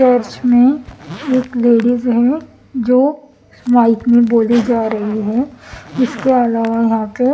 चर्चमें एक लेडीज है जो माइक में बोली जा रही है इसके अलावा यहां पे--